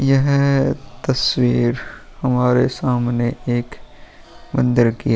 यह तस्वीर हमारे सामने एक मंदिर की ।